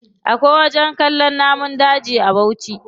Akwai wajen kallon namun daji a bauchi.